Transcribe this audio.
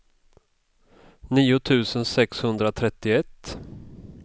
nio tusen sexhundratrettioett